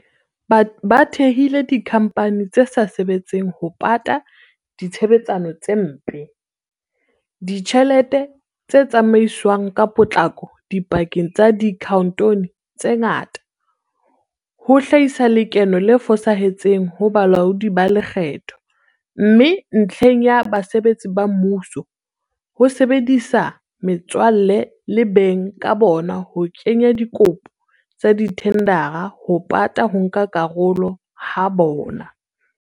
Ba thehile dikhamphani tse sa sebetseng ho pata ditshebetsano tse mpe, ditjhelete tse tsamaiswang ka potlako dipakeng tsa diakhaonto tse ngata, ho hlahisa lekeno le fosahetseng ho balaodi ba lekgetho, mme ntlheng ya basebetsi ba mmuso, ho sebedisa metswalle le beng ka bona ho kenya dikopo tsa dithendara ho pata ho nka karolo ha bona.